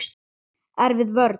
Erfið vörn.